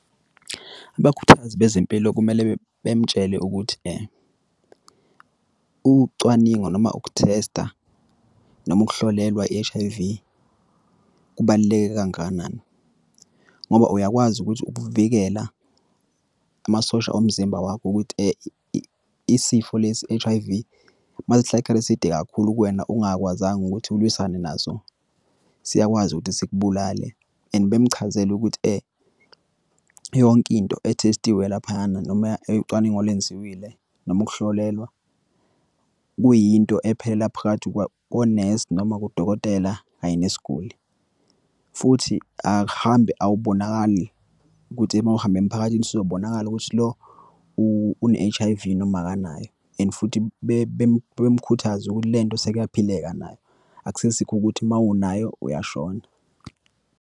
Abakhuthazi bezempilo kumele bemtshele ukuthi ukucwaningwa noma ukuthesta noma ukuhlolelwa i-H_I_V kubaluleke kangakanani. Ngoba uyakwazi ukuthi ukuvikela amasosha omzimba wakho ukuthi isifo lesi i-H_I_V, uma sihlale isikhathi eside kakhulu kuwena, ungakwazanga ukuthi alwisane nazo, siyakwazi ukuthi sikubulale and bemchazele ukuthi yonke into ethestiwe laphayana noma ucwaningo olwenziwile noma ukuhlolelwa, kuyinto ephelela phakathi kwa konesi noma kudokotela, kanye nesiguli. Futhi akuhambi, awubonakali ukuthi uma uhamba emphakathini ukuthi lo une-H_I_V noma akanayo, and futhi bemkhuthaze ukuthi lento sekuyaphileka nayo. Akusesikho ukuthi uma unayo uyashona.